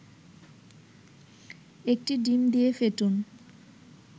১টি ডিম দিয়ে ফেটুন